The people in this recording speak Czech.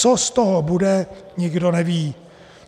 Co z toho bude, nikdo neví.